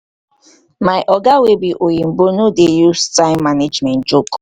my oga wey be oyimbo no dey use time management joke.